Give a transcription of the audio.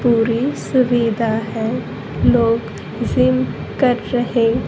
पूरी सुविधा है लोग जिम कर रहे--